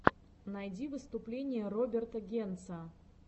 найди выступление роберта генца